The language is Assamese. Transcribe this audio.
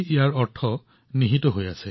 ইয়াৰ অৰ্থ ইয়াৰ নামতে লুকাই আছে